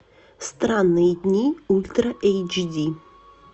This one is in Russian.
странные дни ультра эйч ди